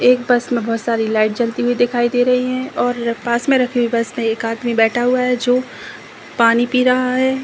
एक बस मे बहुत सारी लाइट जलती हुई दिखाई दे रही है। और र पास मे रखे हुए बस मे एक आदमी बैठा हुआ है जो पानी पी रहा है।